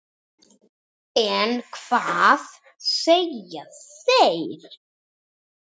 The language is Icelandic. En hvað segja þeir?